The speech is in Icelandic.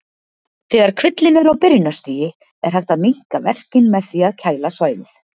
Þegar kvillinn er á byrjunarstigi er hægt að minnka verkinn með því að kæla svæðið.